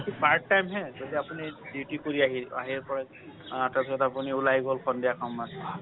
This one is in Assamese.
part time হে যদি আপুনি duty কৰি আহিল, আহিৰ পৰা অ তাৰ পিছত আপুনি ওলাই গল সন্ধিয়া সময়ত।